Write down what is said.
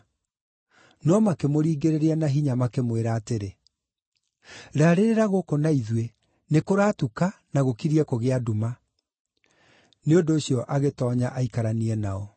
No makĩmũringĩrĩria na hinya, makĩmwĩra atĩrĩ, “Raarĩrĩra gũkũ na ithuĩ, nĩkũratuka na gũkiriĩ kũgĩa nduma.” Nĩ ũndũ ũcio agĩtoonya aikaranie nao.